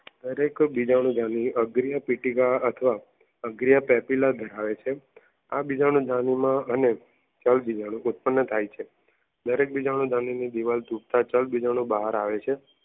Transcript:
દરેક બીજાણુ ધણી અગરિયા પેપીલા ધરાવે છે બીજાણુ ધણી માં અને ઉત્પન્ન થાય છે. દરેક બીજાણુ ધણી દિવાલ બહાર આવે છે